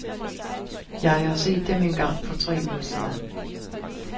Jeg har set dem en gang for tre uger siden.